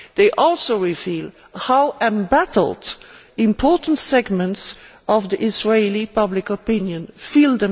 They also reveal how embattled important segments of Israeli public opinion feel